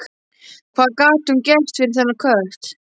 Hvað gat hún gert fyrir þennan kött?